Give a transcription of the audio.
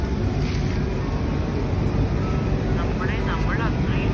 നമ്മടെ നമ്മൾ അത്രയും